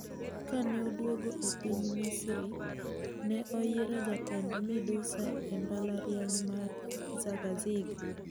Kaneoduogo epiny Misri ne oyiere jatend midusa e mbalariany mar Zagazig.